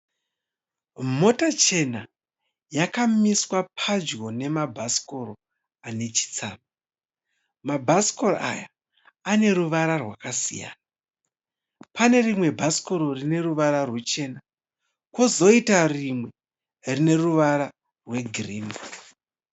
Mota chena yakamiswa pedyo nemabhasikoro anechitsama, mabhasikoro aya aneruvara rwakasiyana, panerimwe bhasikoro rineruvara rwuchena kozoita rimwe rineruvara rwegirini.